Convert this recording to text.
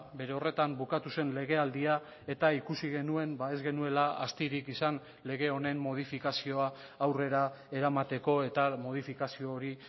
bere horretan bukatu zen legealdia eta ikusi genuen ez genuela astirik izan lege honen modifikazioa aurrera eramateko eta modifikazio hori